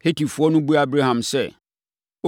Hetifoɔ no buaa Abraham sɛ,